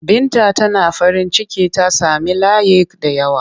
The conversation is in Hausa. Binta Tana farinciki ta sami layik da yawa.